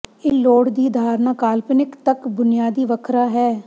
ਇਹ ਲੋੜ ਦੀ ਧਾਰਨਾ ਕਾਲਪਨਿਕ ਤੱਕ ਬੁਨਿਆਦੀ ਵੱਖਰਾ ਹੈ